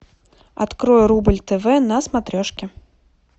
открой рубль тв на смотрешке